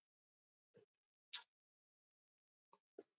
Bara að hann ynni á sama stað og mamma.